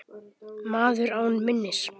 Maður án minnis.